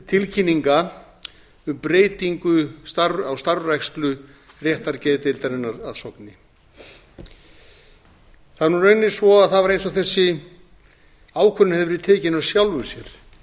tilkynninga um breytingu á starfrækslu réttargeðdeildarinnar að sogni það er nú raunin svo að það var eins og þessi ákvörðun hefði verið tekin af sjálfu sér